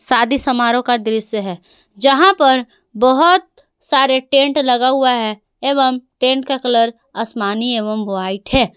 शादी समारोह का दृश्य है जहां पर बहोत सारे टेंट लगा हुआ है एवं टेंट का कलर असमानी एवं व्हाइट है।